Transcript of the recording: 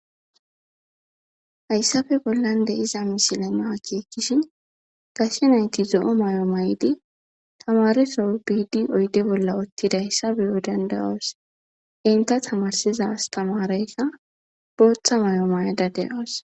hayssafe bollan de iza misile na akeekishi gashe nayti zo7o may7o may7di tamaresoro biidi oyde bolla ottida hayssafe yodandayoos inta tamarsizas tamareykka booththa may7o mayda de7oos